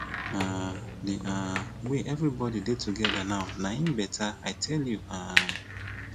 um the um way everybody dey together now na hin beta i tell you um